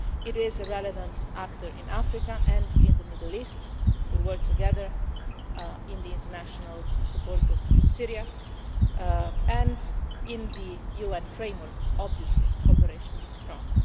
It is a relevant actor in Africa and in the Middle East. We work together in the international support group for Syria and in the UN framework, obviously, cooperation is strong.